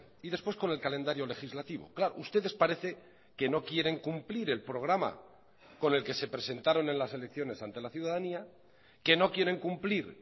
y después con el calendario legislativo claro ustedes parece que no quieren cumplir el programa con el que se presentaron en las elecciones ante la ciudadanía que no quieren cumplir